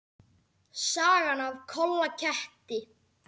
Sagan af Kolla ketti.